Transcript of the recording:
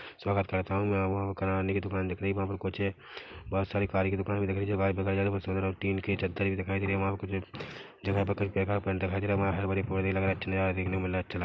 स्वागत करता हूँ मैं वहाँ किराने की दुकान दिख रही है वहाँ पर कुछ बहोत सारी कारे की दुकान भी दिख रही है वहाँ देखा जाए तो सोचू तो टीन की चद्दर भी दिखाई दे रही है वहाँ पे कुछ जगह कई जगह पेंट दिखाई दे रहा है वहाँ हरे-भरे पौधे लगे है अच्छा नज़ारा देखने को मिल रहा है अच्छा लग रहा है।